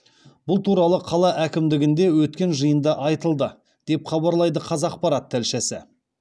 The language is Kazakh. бұл туралы қала әкімдігінде өткен жиында айтылды деп хабарлайды қазақпарат тілшісі